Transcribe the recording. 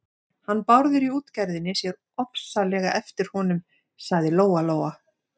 Hann Bárður í útgerðinni sér ofsalega eftir honum, sagði Lóa-Lóa.